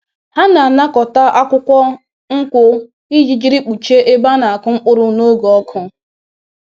Ha na-anakọta akwukwo nkwu iji jiri kpuchie ebe a na-akụ mkpụrụ n’oge ọkụ